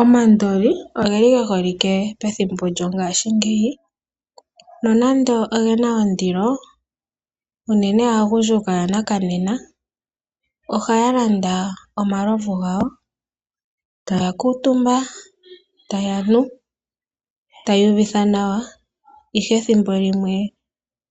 Omandoli oge li ge holike pethimbo lyongashingeyi, nonando oge na ondilo, aagundjuka yanakanena ohaa landa omalovu gawo. Taya kuutumbwa, taya nu, taya iyuvitha nawa, ihe ethimbo limwe